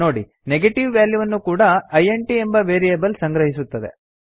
ನೋಡಿ ನೆಗೆಟೀವ್ ವ್ಯಾಲ್ಯೂವನ್ನು ಕೂಡಾ ಇಂಟ್ ಎಂಬ ವೇರಿಯೇಬಲ್ ಸಂಗ್ರಹಿಸುತ್ತದೆ